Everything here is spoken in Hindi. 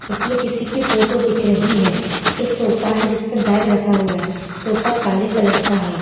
इसमें किसी की फोटो दिख रही है एक सोफा है जिस पर बैग रखा हुआ है सोफा काले कलर का है।